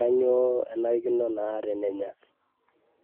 kanyiooo ishaa nenya.